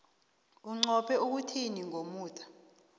inqophe ukuthini ngomuda